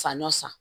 Sanyɔn san